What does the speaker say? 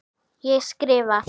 Ég skrifa.